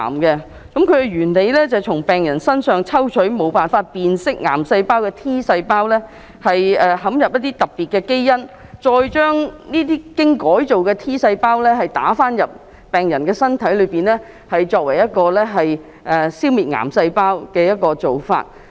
它的原理是，從病人身上抽取無法辨認癌細胞的 T 細胞，植入一些特別基因，再將這些經改造的 T 細胞注射入病人身體，作為一個消滅癌細胞的方法。